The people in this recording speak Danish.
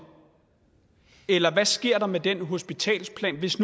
eller hvad sker der med den hospitalsplan hvis